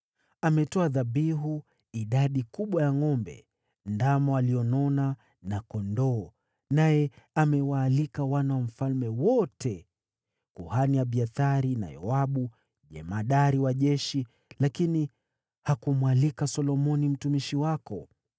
Ametoa dhabihu idadi kubwa ya ngʼombe, ndama walionona na kondoo, naye amewaalika wana wa mfalme wote, kuhani Abiathari, na Yoabu jemadari wa jeshi, lakini hakumwalika Solomoni mtumishi wako.